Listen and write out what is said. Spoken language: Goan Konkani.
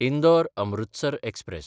इंदोर–अमृतसर एक्सप्रॅस